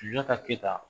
Sunjata keyita